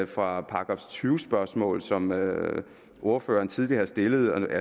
fra et § tyve spørgsmål som ordføreren tidligere har stillet